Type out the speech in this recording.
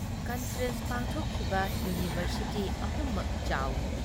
Conference ꯄꯥꯡꯊꯣꯛꯈꯤꯕ university ꯑꯍꯨꯝꯃꯛ ꯆꯥꯎꯏ ꯫